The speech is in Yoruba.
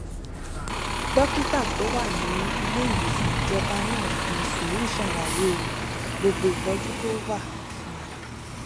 dókítà tó wà ní ilé ìwòsàn ìjọba náà fi sùúrù ṣàlàyé gbogbo ìtójú tó wà fún un